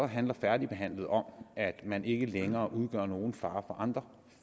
handler færdigbehandlet om at man ikke længere udgør nogen fare for andre